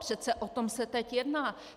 Přece o tom se teď jedná.